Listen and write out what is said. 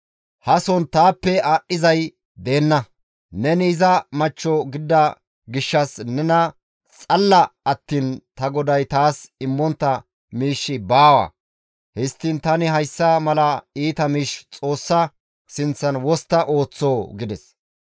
Hason taappe aadhdhizay deenna; neni iza machcho gidida gishshas nena xalla attiin ta goday taas immontta miishshi baawa. Histtiin tani hayssa mala iita miish Xoossa sinththan wostta ooththoo?» gides.